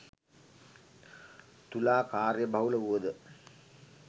තුලා කාර්යබහුල වුවද